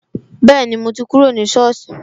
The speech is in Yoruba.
Bẹẹni, mo ti kúrò ní soosi